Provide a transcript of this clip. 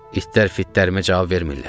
İtlər fitlərimə cavab vermirlər.